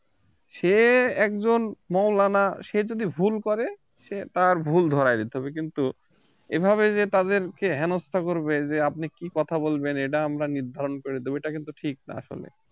সে একজন মৌলানা সে যদি ভুল করে সে তার ভুল ধরাই দিতে হবে কিন্তু এভাবে যে তাদেরকে হেনস্তা করবে যে আপনি কি কথা বলবেন এটা আমরা নির্ধারণ করে দেব এটা কিন্তু ঠিক না আসলে